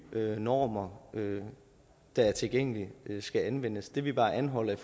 normer der er tilgængelige skal anvendes det vi bare anholder i